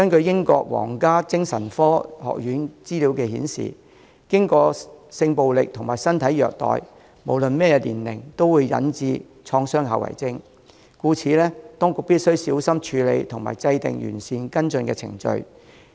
英國皇家精神科學院的資料顯示，經歷過性暴力和身體虐待的人，無論任何年齡，都會患上創傷後遺症，故此，當局必須小心處理和制訂完善跟進程序。